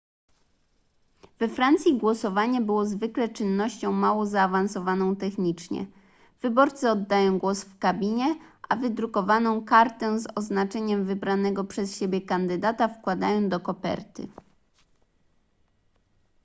we francji głosowanie było zwykle czynnością mało zaawansowaną technicznie wyborcy oddają głos w kabinie a wydrukowaną kartę z oznaczeniem wybranego przez siebie kandydata wkładają do koperty